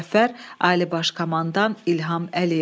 Müzəffər Ali Baş Komandan İlham Əliyev.